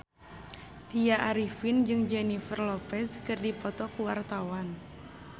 Tya Arifin jeung Jennifer Lopez keur dipoto ku wartawan